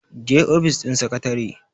je ofis din sakatare!